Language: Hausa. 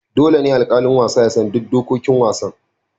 Dole ne alƙalin wasa ya san duk dokokin wasan.